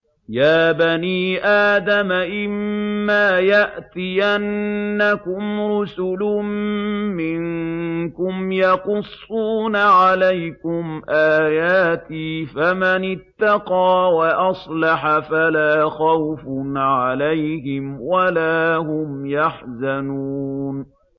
يَا بَنِي آدَمَ إِمَّا يَأْتِيَنَّكُمْ رُسُلٌ مِّنكُمْ يَقُصُّونَ عَلَيْكُمْ آيَاتِي ۙ فَمَنِ اتَّقَىٰ وَأَصْلَحَ فَلَا خَوْفٌ عَلَيْهِمْ وَلَا هُمْ يَحْزَنُونَ